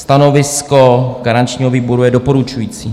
Stanovisko garančního výboru je doporučující.